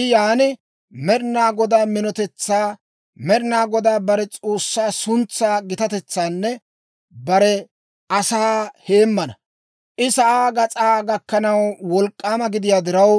I yaana; Med'ina Godaa minotetsan, Med'ina Godaa bare S'oossaa suntsaa gitatetsan bare asaa heemmana. I sa'aa gas'aa gakkanaw wolk'k'aama gidiyaa diraw,